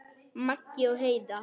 Maggi og Heiða.